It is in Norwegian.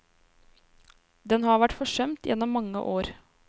Den har vært forsømt gjennom mange år.